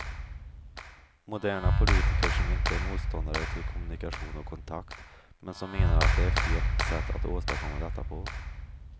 Moderna politiker som inte är motståndare till kommunikation och kontakt, men som menar att det är fel sätt att åstadkomma detta på.